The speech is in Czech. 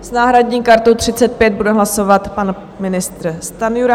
S náhradní kartou 35 bude hlasovat pan ministr Stanjura.